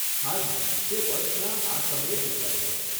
હાજી, તે વર્ષના આ સમયે જ ઉજવાય છે.